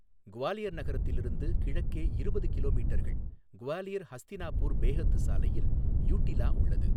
குவாலியர் நகரத்திலிருந்து கிழக்கே இருபது கிலோமீட்டர்கள் குவாலியர் ஹஸ்தினாபூர் பேஹத் சாலையில் யூட்டிலா உள்ளது.